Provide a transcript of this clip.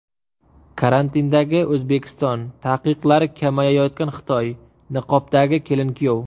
Karantindagi O‘zbekiston, taqiqlari kamayayotgan Xitoy, niqobdagi kelin-kuyov.